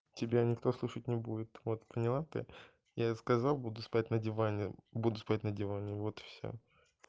тебя никто слушать не будет вот поняла ты я сказал буду спать на диване буду спать на диване вот и всё